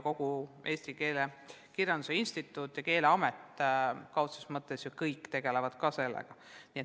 Kogu Eesti Keele Instituut ja Keeleamet ju tegelevad sellega.